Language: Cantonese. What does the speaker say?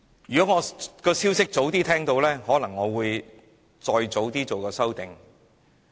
如果我早些聽到這消息，可能會提出修正案。